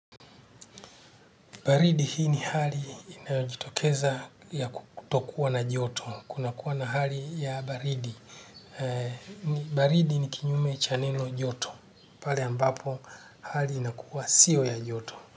Baridi hii ni hali inayojitokeza ya kutokuwa na joto. Kuna kuwa na hali ya baridi. Baridi ni kinyume cha neno joto. Pale ambapo hali inakuwa sio ya joto.